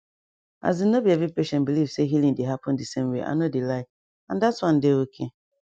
asin no be every patient believe say healing dey happen di same way i no dey lie and that one dey okay